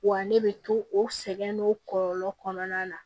Wa ne bɛ to o sɛgɛn n'o kɔlɔlɔ kɔnɔna na